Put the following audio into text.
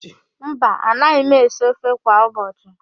Mba, anaghị m esi ofe kwa ụbọchị..